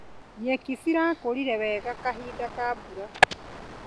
Nyeki cirakũrire wega kahinda ka mbura.